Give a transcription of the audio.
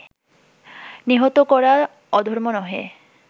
নিহত করা অধর্ম নহে